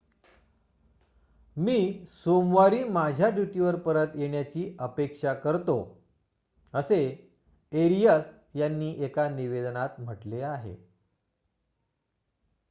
मी सोमवारी माझ्या ड्यूटीवर परत येण्याची अपेक्षा करतो असे एरियस यांनी एका निवेदनात म्हटले आहे